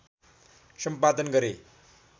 सम्पादन गरे